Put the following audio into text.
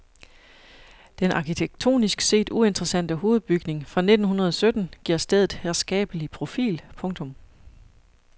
Den arkitektonisk set uinteressante hovedbygning fra nitten hundrede sytten giver stedet herskabelig profil. punktum